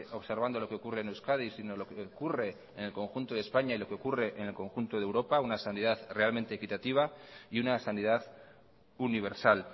observando lo que ocurre en euskadi sino lo que ocurre en el conjunto de españa y lo que ocurre en el conjunto de europa una sanidad realmente equitativa y una sanidad universal